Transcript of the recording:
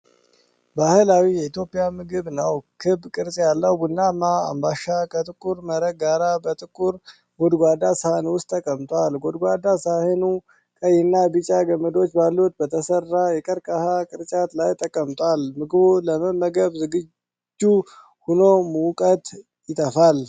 ባህላዊ የኢትዮጵያ ምግብ ነው። ክብ ቅርጽ ያለው ቡናማ አምባሻ ከጥቁር መረቅ ጋር በጥቁር ጎድጓዳ ሳህን ውስጥ ተቀምጧል። ጎድጓዳ ሳህኑ ቀይና ቢጫ ገመዶች ባሉት በተሠራ የቀርከሃ ቅርጫት ላይ ተቀምጧል። ምግቡ ለመመገብ ዝግጁ ሆኖ ሙቀት ይተፋል።